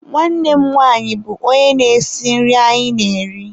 Nwanne m nwanyị bụ onye na-esi nri anyị na-eri.